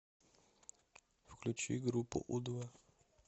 включи группу у два